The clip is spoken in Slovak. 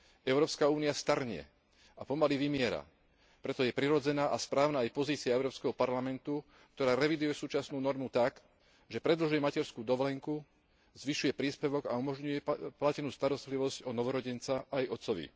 Európska únia starne a pomaly vymiera, preto je prirodzená a správna aj pozícia Európskeho parlamentu, ktorá reviduje súčasnú normu tak, že predlžuje materskú dovolenku, zvyšuje príspevok a umožňuje platenú starostlivosť o novorodenca aj otcovi.